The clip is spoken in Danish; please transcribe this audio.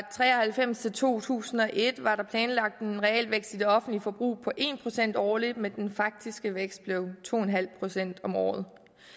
tre og halvfems til to tusind og et var der planlagt en realvækst i det offentlige forbrug på en procent årligt men den faktiske vækst blev to en halv procent om året